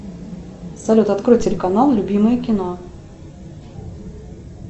салют открой телеканал любимое кино